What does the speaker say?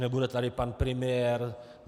Nebude tady pan premiér.